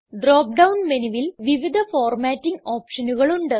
drop down മെനുവിൽ വിവിധ formatting ഓപ്ഷനുകൾ ഉണ്ട്